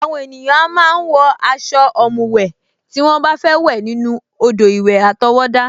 Àwọn ènìyàn a máa ń wọ aṣọ ọ̀mùwẹ̀ tí wọ́n bá fẹ́ wẹ̀ nínú odò-ìwẹ̀ àtọwọ́dá